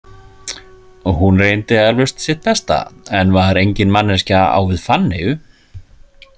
Hún reyndi eflaust sitt besta en var engin manneskja á við Fanneyju.